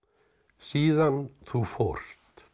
síðan þú fórst